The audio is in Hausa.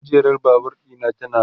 kujerar Babur ɗina tana rawa